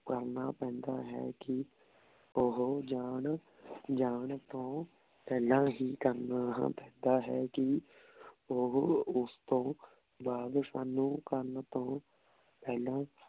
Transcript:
ਕਰਨਾ ਪੈਂਦਾ ਹੈ ਕੀ ਓਹੋ ਜਾਂ ਜਾਂ ਤੋਂ ਪੇਹ੍ਲਾਂ ਹੀ ਕਰਨਾ ਪੈਂਦਾ ਹੈ ਕੀ ਓਹੋ ਓਸ ਤੋਂ ਬਾਅਦ ਸਾਨੂ ਕਰਨ ਤੋਂ ਪੇਹ੍ਲਾਂ